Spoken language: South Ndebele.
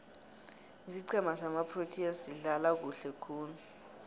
isiqhema samaproteas sidlala kuhle khulu